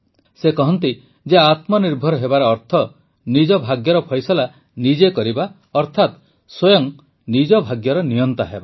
ସେ କହନ୍ତି ଯେ ଆତ୍ମନିର୍ଭର ହେବାର ଅର୍ଥ ନିଜର ଭାଗ୍ୟର ଫଇସଲା ନିଜେ କରିବା ଅର୍ଥାତ ସ୍ୱୟଂ ନିଜ ଭାଗ୍ୟର ନିୟନ୍ତା ହେବା